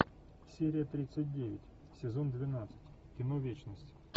серия тридцать девять сезон двенадцать кино вечность